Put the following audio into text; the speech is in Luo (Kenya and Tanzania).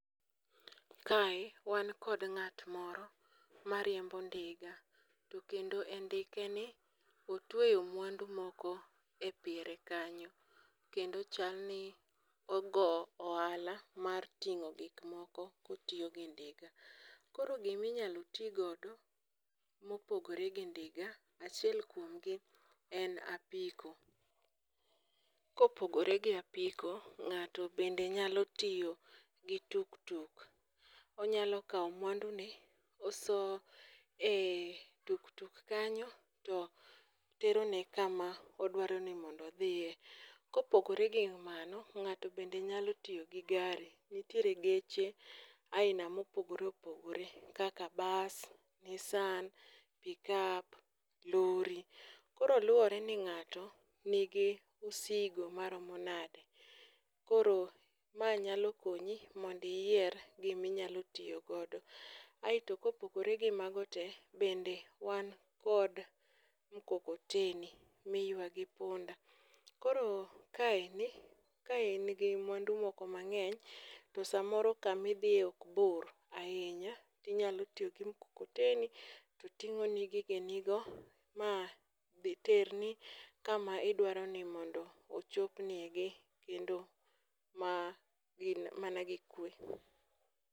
Kae wan kod ng'at moro, mariembo ndiga to kendo e ndikeni otweyo mwandu moko e piere kanyo. Kendo chal ni ogo ohala mar ting'o gikmoko kotiyo gi ndiga. Koro giminyalo ti godo mopogore gi ndiga achiel kuomgi en apiko, kopogore gi apiko, ng'ato bende nyalo tiyo gi tuktuk, onyalo kawo mwandune oso e tuk tuk kanyo to terone kama odwaro ni mondo odhiye. Kopogore gi ,mano, ng'ato bende nyalo tiyo gi gari, nitiere geche aila mopogore opogore, kaka ,bus, nissan, pick up, lorry. Koro luwore ni ng'ato nigi msigo maromo nade. Koro ma nyalo konyi mondo iyier giminyalo tiyo godo. Aeto kopogore gi mago te, bende wan kod mkokoteni miywa gi punda, koro kain ka en gi mwandu moko mang'eny to samoro kamidhiye ok bor ahinya, tinyalo tiyo gi mkokoteni, to ting'oni gige nigo ma dhi terni kama idwaro ni mondo ochopnigi kendo man gi, mana gi kwe.